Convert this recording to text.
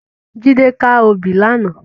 Jide kâ óbì làná